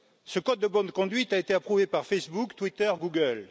Ce code de bonne conduite a été approuvé par Facebook, Twitter, Google.